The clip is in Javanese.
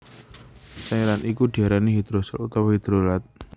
Cairan iku diarani hidrosol utawa hidrolat